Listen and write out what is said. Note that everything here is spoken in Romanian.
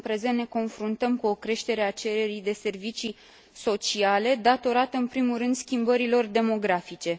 În prezent, ne confruntăm cu o creștere a cererii de servicii sociale, datorată în primul rând schimbărilor demografice.